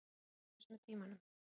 Og lærist með tímanum.